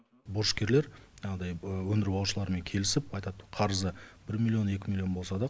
борышкерлер жаңағыдай өндіріп алушылармен келісіп айтады қарызы бір миллион екі миллион болса да